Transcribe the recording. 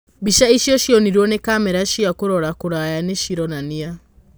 Mbica icio cionirwo nĩ kamera cia kũrora kũraya nĩcironania.